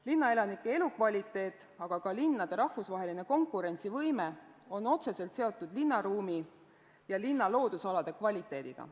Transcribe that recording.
Linnaelanike elukvaliteet, aga ka linnade rahvusvaheline konkurentsivõime on otseselt seotud linnaruumi ja linna loodusalade kvaliteediga.